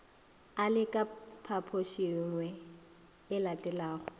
a le ka phaphošingye elatelago